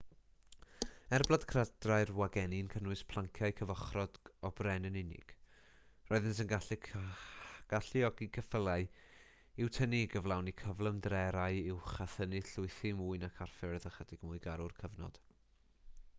er bod cledrau wagenni'n cynnwys planciau cyfochrog o bren yn unig roeddent yn galluogi ceffylau i'w tynnu i gyflawni cyflymderau uwch a thynnu llwythi mwy nac ar ffyrdd ychydig mwy garw'r cyfnod